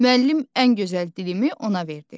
Müəllim ən gözəl dilimi ona verdi.